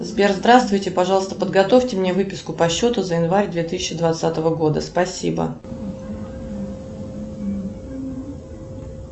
сбер здравствуйте пожалуйста подготовьте мне выписку по счету за январь две тысячи двадцатого года спасибо